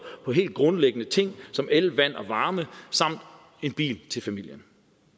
på helt grundlæggende ting som el vand og varme samt en bil til familien